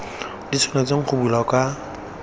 di tshwanetseng go bulwa ka